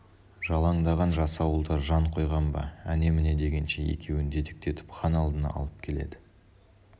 жалаңдаған жасауылдар жан қойған ба әне-міне дегенше екеуін дедектетіп хан алдына алып келеді